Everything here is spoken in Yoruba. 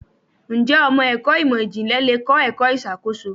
Ǹjẹ́ ọmọ ẹ̀kọ́ ìmò ìjìnlẹ̀ le kọ́ ẹ̀kọ́ ìṣàkóso?